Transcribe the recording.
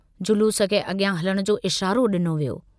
जलूस खे अॻियां हलण जो इशारो डिनो वियो।